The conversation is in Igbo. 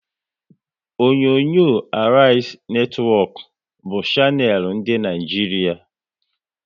Onyonyo Arise netwọk bụ shanel dị n'Naijiria